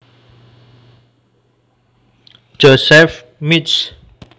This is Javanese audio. Joseph Mich